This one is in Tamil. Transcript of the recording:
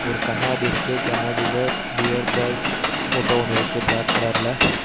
ஒரு கண்ணாடி இருக்கு. கண்ணாடில பியர் பாய்ட் போட்டோ ஒன்னு இருக்கு பிளாக் கலர்ல .